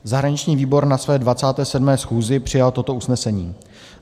Zahraniční výbor na své 27. schůzi přijal toto usnesení: